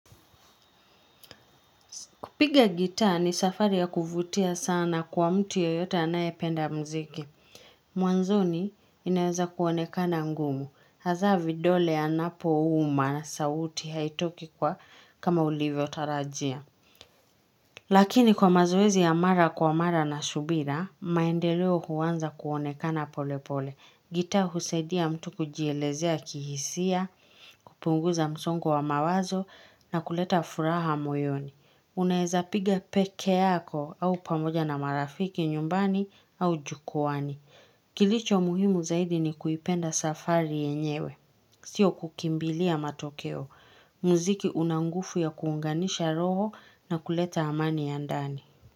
Kupiga gitaa ni safari ya kuvutia sana kwa mtu yeyote anaye penda mziki. Mwanzoni inaweza kuonekana ngumu. Haza vidole anapo uma sauti haitoki kwa kama ulivyo tarajia. Lakini kwa mazoezi ya mara kwa mara na shubira, maendeleo huwanza kuonekana pole pole. Gitaa husadia mtu kujielezea kihisia, kupunguza msongo wa mawazo na kuleta furaha moyoni. Unaeza piga peke yako au pamoja na marafiki nyumbani au jukwaani. Kilicho muhimu zaidi ni kuipenda safari yenyewe. Sio kukimbilia matokeo. Muziki unangufu ya kuunganisha roho na kuleta amani ya ndani.